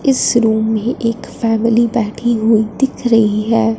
इस रूम में एक फैमिली बैठी हुई दिख रही है।